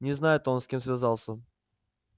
не знает он с кем связался